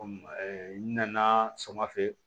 Komi n nana sama fɛ